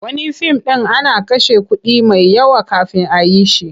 Wani fim ɗin ana kashe kuɗi mai yawa kafin a yi shi.